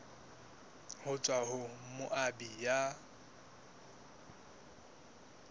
ho tswa ho moabi ya